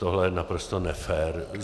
Tohle je naprosto nefér.